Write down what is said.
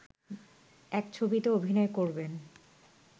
এক ছবিতে অভিনয় করবেন